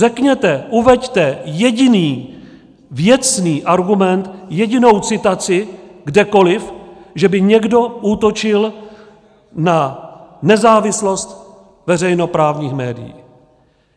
Řekněte, uveďte jediný věcný argument, jedinou citaci kdekoli, že by někdo útočil na nezávislost veřejnoprávních médií.